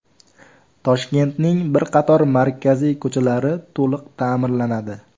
Toshkentning bir qator markaziy ko‘chalari to‘liq ta’mirlanadi.